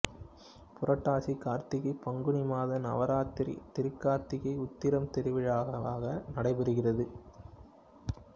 புரட்டாசி கார்த்திகை பங்குனி மாதம் நவராத்திரி திருக்கார்த்திகை உத்திரம் திருவிழாவாக நடைபெறுகிறது